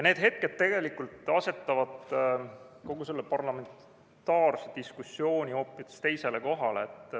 Need tegelikult asetavad kogu selle parlamentaarse diskussiooni hoopis teisele kohale.